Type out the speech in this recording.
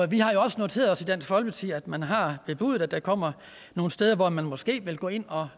vi har jo også noteret os i dansk folkeparti at man har bebudet at der kommer nogle steder hvor man måske vil gå ind og